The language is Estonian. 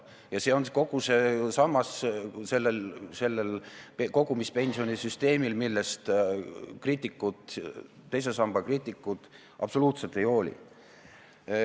Ja see on see sammas selles kogumispensioni süsteemis, millest kriitikud, teise samba kriitikud, absoluutselt ei hooli.